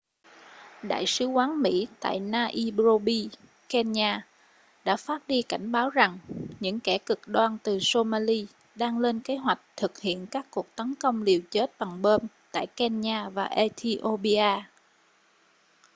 đại sứ quán mỹ tại nairobi kenya đã phát đi cảnh báo rằng những kẻ cực đoan từ somali đang lên kế hoạch thực hiện các cuộc tấn công liều chết bằng bom tại kenya và ethiopia